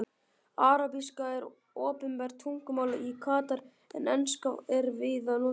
Arabíska er opinbert tungumál í Katar en enska er víða notuð.